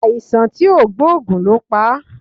Aisan ti o gboogun lo pa